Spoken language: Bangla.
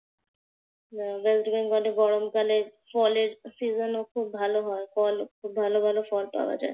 ওয়েস্ট বেঙ্গলে গরমকালের ফলের season ও খুব ভালো হয়। ফল খুব ভালো ভালো ফল পাওয়া যায়। হ্যাঁ।